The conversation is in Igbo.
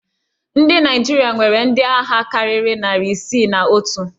Ndị naịjirịa nwere ndị agha karịrị nari isii na otu